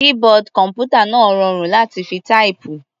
Keyboard kọ̀m̀pútà náà rọrùn láti fi táìpù.